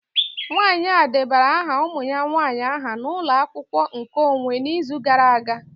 Nwanyị a debara aha ụmụ ya nwanyị aha na ụlọ akwụkwọ nkeonwe n'izu gara aga